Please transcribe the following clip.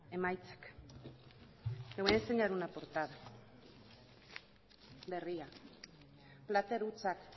emaitzak le voy a enseñar una portada berria plater hutsak